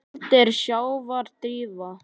Köld er sjávar drífa.